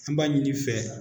An b'a ɲini i fɛ.